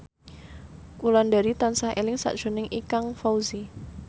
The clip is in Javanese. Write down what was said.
Wulandari tansah eling sakjroning Ikang Fawzi